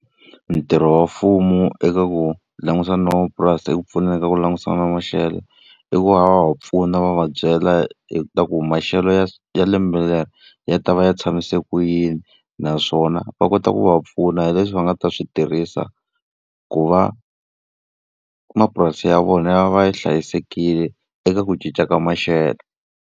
Ntirho wa mfumo eka ku langutisana na van'wamapurasi hi ku pfuneka ku langutisa na maxelo, i ku va va pfuna va va byela hi ta ku maxelo ya ya lembe leri ya ta va ya tshamiseka ku yini. Naswona va kota ku va pfuna hi leswi va nga ta swi tirhisa, ku va mapurasi ya vona ya va ya hlayisekile eka ku cinca ka maxelo.